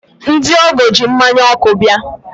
ndị ọgọ ji mmanya ọkụ bịa.